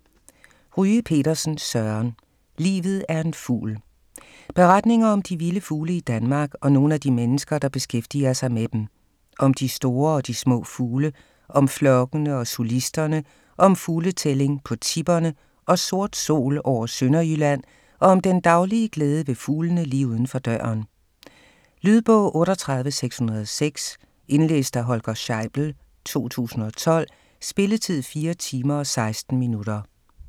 Ryge Petersen, Søren: Livet er en fugl Beretninger om de vilde fugle i Danmark og nogle af de mennesker der beskæftiger sig med dem. Om de store og de små fugle, om flokkene og solisterne, om fugletælling på Tipperne og "sort sol" over Sønderjylland, og om den daglige glæde ved fuglene lige uden for døren. Lydbog 38606 Indlæst af Holger Scheibel, 2012. Spilletid: 4 timer, 16 minutter.